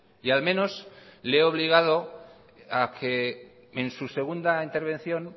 y al menos le he obligado a que en su segunda intervención